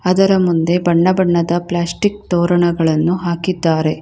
ಅದರ ಮುಂದೆ ಬಣ್ಣ ಬಣ್ಣದ ಪ್ಲಾಸ್ಟಿಕ್ ತೋರಣಗಳನ್ನು ಹಾಕಿದ್ದಾರೆ.